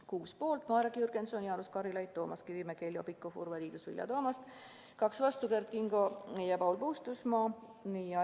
Kuus poolt: Marek Jürgenson, Jaanus Karilaid, Toomas Kivimägi, Heljo Pikhof, Urve Tiidus ja Vilja Toomast, kaks vastu: Kert Kingo ja Paul Puustusmaa.